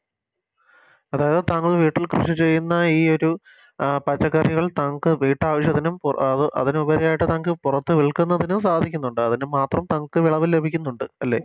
അതായത് താങ്കൾ വീട്ടിൽ കൃഷി ചെയ്യുന്ന ഈ ഒരു അഹ് പച്ചക്കറികൾ തൻക്ക് വീട്ടാവശ്യത്തിനും പുറ അത് അതിനുപരിയായിട്ട് തൻക്ക് പുറത്ത് വിൽക്കുന്നതിനും സാധിക്കുന്നുണ്ട് അതിനു മാത്രം തൻക്ക് വിളവ് ലഭിക്കുന്നുണ്ട് അല്ലെ